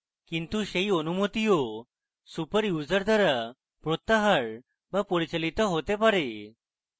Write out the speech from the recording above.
কিন্তু সেই অনুমতিও super user দ্বারা প্রত্যাহার be পরিচালিত হতে পারে